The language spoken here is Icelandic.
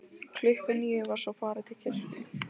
Klukkan níu var svo farið til kirkju.